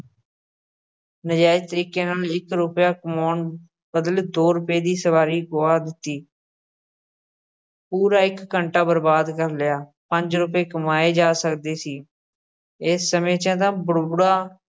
ਨਾਜਾਇਜ਼ ਤਰੀਕੇ ਨਾਲ਼ ਇੱਕ ਰੁਪਇਆ ਕਮਾਉਣ ਬਦਲੇ ਦੋ ਰੁਪਏ ਦੀ ਸਵਾਰੀ ਗੁਆ ਦਿੱਤੀ ਪੂਰਾ ਇੱਕ ਘੰਟਾ ਬਰਬਾਦ ਕਰ ਲਿਆ, ਪੰਜ ਰੁਪਏ ਕਮਾਏ ਜਾ ਸਕਦੇ ਸੀ, ਏਸ ਸਮੇਂ 'ਚ ਤਾਂ ਬੁੜਬੁੜਾ